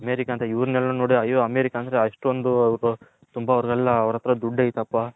America ಅಂತೆ ಎವೆರೆಲ್ಲ ನೋಡಿ ಆಯೋ ಅಮೇರಿಕಾ ಅಂದ್ರೆ ಅಷ್ಟೊಂದು ಅವರು ತುಂಬಾ ಅವರದೆಲ್ಲ ಅವರ್ ಅತ್ರ ದುಡ್ಡು ಆಯ್ತಪ್ಪ